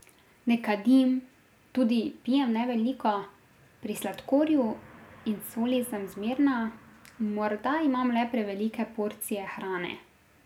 Ne kadim, tudi pijem ne veliko, pri sladkorju in soli sem zmerna, morda imam le prevelike porcije hrane ...